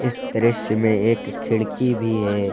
इस दृश्य में एक खिड़की भी है।